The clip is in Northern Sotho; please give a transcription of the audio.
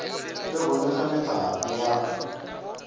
le go nweša mehlape ya